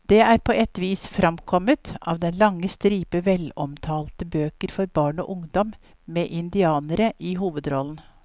Det er på et vis fremkommet av den lange stripe velomtalte bøker for barn og ungdom med indianere i hovedrollen.